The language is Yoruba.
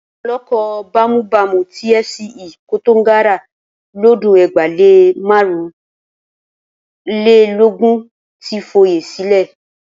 Olóko bámúbamù ti FCE Koǹtàgora lọ́dún ẹgbàá lé márùn-únlélógún ti foyè sílẹ̀.